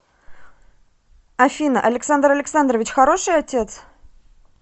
афина александр александрович хороший отец